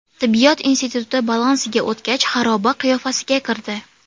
Tibbiyot instituti balansiga o‘tgach, xaroba qiyofasiga kirdi.